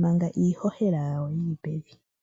manga iihohela yawo yili pevi.